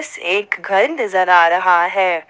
एक घर नजर आ रहा है।